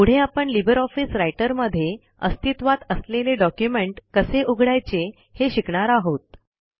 पुढे आपण LibreOffice Writer मध्ये अस्तित्वात असलेले डॉक्युमेंट कसे उघडायचे हे शिकणार आहोत